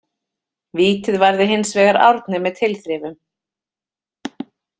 Vítið varði hinsvegar Árni með tilþrifum.